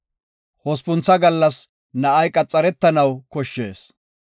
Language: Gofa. Hospuntha gallas na7ay qaxaretanaw koshshees.